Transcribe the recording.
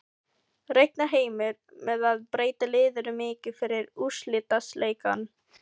Reiknar Heimir með að breyta liðinu mikið fyrir úrslitaleikinn?